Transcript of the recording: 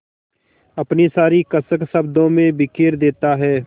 अपनी सारी कसक शब्दों में बिखेर देता है